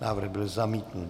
Návrh byl zamítnut.